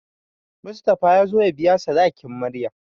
Mustapha ya zo ya biya sadakin Maryam.